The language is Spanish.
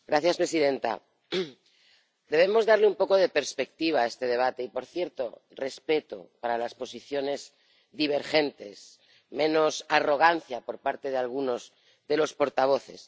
Señora presidenta, debemos darle un poco de perspectiva a este debate y, por cierto, respeto para las posiciones divergentes, menos arrogancia por parte de algunos de los portavoces.